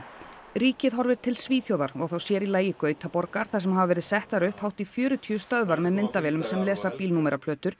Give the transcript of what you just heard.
ríkið horfir til Svíþjóðar og þá sér í lagi Gautaborgar þar sem hafa verið settar upp hátt í fjörutíu stöðvar með myndavélum sem lesa